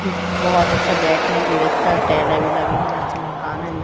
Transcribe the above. बहोत अच्छा बैठने की व्यवस्था टाइले भी लगी है। अच्छा मकान है।